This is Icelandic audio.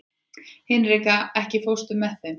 Hinrika, ekki fórstu með þeim?